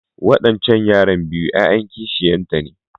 Wadancan yaran biyu ‘ya’yan kishiyarta ne.